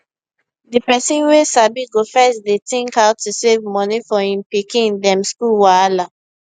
di person wey sabi go first dey think how to save moni for him pikin dem school wahala